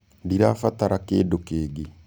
Ndĩrabatara kĩndũ kĩngĩ.